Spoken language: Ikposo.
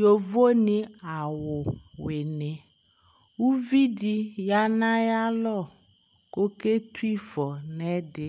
yovo ni awu wini uvi di ya no ayi alɔ ko oke tu ifɔ no ɛdi